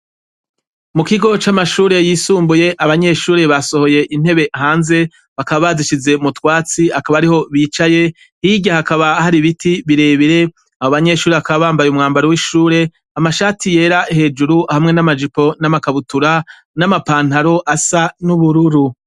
Mukigo c'amashure yisumbuye ,abanyeshure basohoye intebe hanze, bakaba bazishize mutwatsi ,akaba ariho bicaye, hirya hakaba hari ibiti birebire, abo banyeshure bakaba bambaye umwambaro w'ishure ,amashati yera hejuru hamwe n'amajipo ,n'amakabutura, n'amapantaro asa n'ubururu.